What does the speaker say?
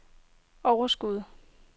overskuddet